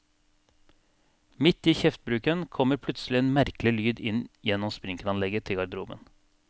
Midt i kjeftbruken kommer plutselig en merkelig lyd inn gjennom sprinkelanlegget til garderoben.